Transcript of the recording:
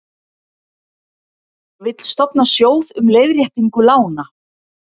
Vill stofna sjóð um leiðréttingu lána